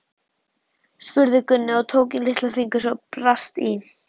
spurði Gunni og tók í litla fingur svo brast í.